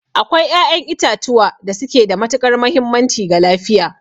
Akwai ƴaƴan itatuwa da suke da matuƙar mahimmanci ga lafiya.